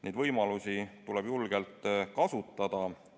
Neid võimalusi tuleb julgelt kasutada.